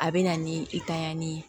A bɛ na ni i tanɲanni